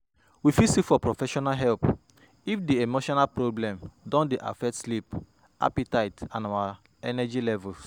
we fit seek for professional help if di emotional problem don dey affect sleep, appetite and our energy levels